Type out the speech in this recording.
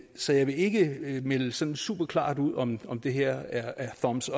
så jeg vil ikke melde sådan superklart ud om om det her er thumbs